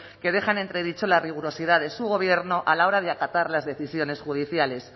que deja en entredicho la rigurosidad de su gobierno a la hora de acatar las decisiones judiciales